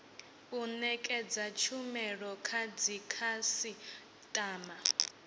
u nekedza tshumelo kha dzikhasitama